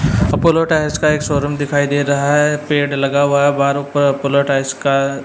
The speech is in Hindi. अपोलो टायर्स का एक शोरूम दिखाई दे रहा है पेड़ लगा हुआ है बाहर ऊपर अपोलो टायर्स का--